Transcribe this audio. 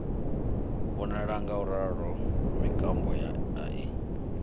vhonala ngauralo mikando a i